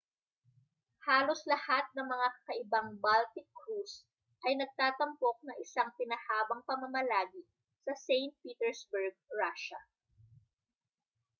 halos lahat ng mga kakaibang baltic cruise ay nagtatampok ng isang pinahabang pamamalagi sa st petersburg russia